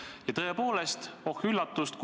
Ja tõepoolest – oh üllatust!